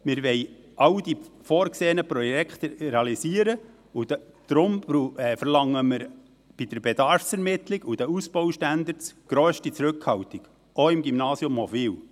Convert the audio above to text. Wir wollen all die vorgesehenen Projekte realisieren, und deshalb verlangen wir bei der Bedarfsermittlung und den Ausbaustandards grösste Zurückhaltung, auch im Gymnasium Hofwil.